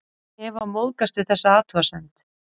Eva móðgast við þessa athugasemd.